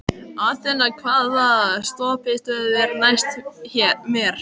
Athena, hvaða stoppistöð er næst mér?